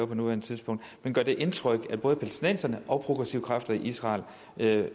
på nuværende tidspunkt men gør det ikke indtryk at både palæstinenserne og progressive kræfter i israel